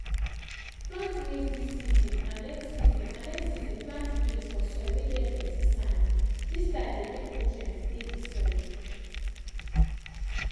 plant maize this season and next season and next season plant beans for soil whey get plenty sandthis style dey make nutrients dey the soil.